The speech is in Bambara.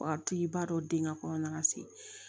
Wa tigi b'a dɔn den ŋa kɔnɔna se